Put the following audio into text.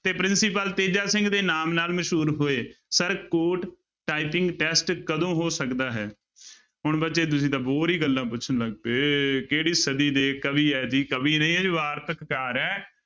ਤੇ ਪ੍ਰਿੰਸੀਪਲ ਤੇਜਾ ਸਿੰਘ ਦੇ ਨਾਮ ਨਾਲ ਮਸ਼ਹੂਰ ਹੋਏ ਸਰ court typing test ਕਦੋਂ ਹੋ ਸਕਦਾ ਹੈ ਹੁਣ ਬੱਚੇ ਤੁਸੀਂ ਤਾਂ ਹੋਰ ਹੀ ਗੱਲਾਂ ਪੁੱਛਣ ਲੱਗ ਪਏ, ਕਿਹੜੀ ਸਦੀ ਦੇ ਕਵੀ ਹੈ ਜੀ ਕਵੀ ਨਹੀਂ ਹੈ ਜੀ ਵਾਰਤਕਾਰ ਹੈ।